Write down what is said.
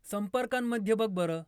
संपर्कांमध्ये बघ बरं!